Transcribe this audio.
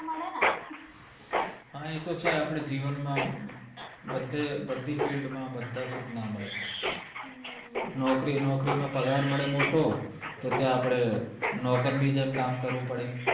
હા એતો છે આપણે જીવન માં બધે બધી field માં બધા સુખ ના મળે નોકરી નોકરી માં પગાર મળે મોટો તો ત્યાં આપડે નોકર ની જેમ કામ કરવું પડે